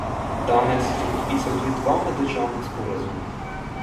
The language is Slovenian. Danes so podpisali tudi dva meddržavna sporazuma.